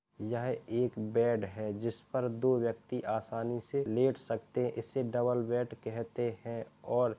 यह एक बेड़ है जिस पर दो व्यक्ति आसानी से लेट सकते हैं इसे डबल बेड कहते हैं और --